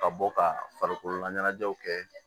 Ka bɔ ka farikolo laɲɛnajɛw kɛ